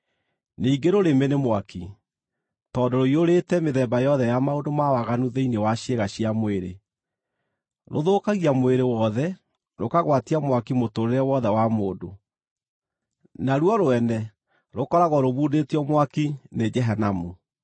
Ningĩ rũrĩmĩ nĩ mwaki, tondũ rũiyũrĩte mĩthemba yothe ya maũndũ ma waganu thĩinĩ wa ciĩga cia mwĩrĩ. Rũthũkagia mwĩrĩ wothe, rũkagwatia mwaki mũtũũrĩre wothe wa mũndũ, naruo rwene rũkoragwo rũmundĩtio mwaki nĩ Jehanamu.